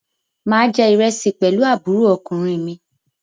Mà á jẹ ìrẹsì pẹ̀lú àbúrò ọkùnrin mi.